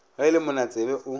ge e le monatsebe o